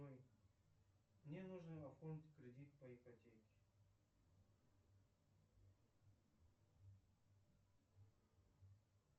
мне нужно оформить кредит по ипотеке